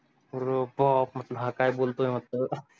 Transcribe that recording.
आरो बाप हा काय बोलतोय म्हंटलं